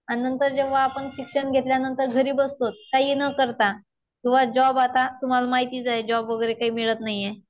आणि नंतर जेव्हा आपण शिक्षण घेतल्यानंतर घरी बसतो काहीही न करता. किंवा जॉब आता तुम्हाला माहितीच आहे. जॉब वगैरे काही मिळत नाहीये.